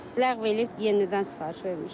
Ləğv eləyib yenidən sifariş vermişik.